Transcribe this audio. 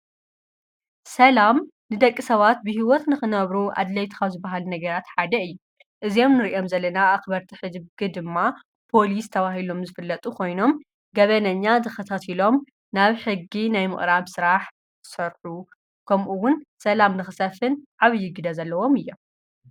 ሰላም ድደቂ ሰዋት ብሕይወት ንኽነብሩ ኣድለይትኻ ዝበሃል ነገራት ሓደይ እ እዚም ንርእዮም ዘለና ኣኽበርቲ ኅጅጊ ድማ ጶሊስ ተብሂሎም ዝፍለጡ ኾይኖም ገበነኛ ዝኽታት ኢሎም ናብ ሕጊ ናይ ምቕራብ ሠራሕ ሠሑ ከምኡውን ሰላም ንኽሰፍን ዓብዪግደ ዘለዎም እዮም።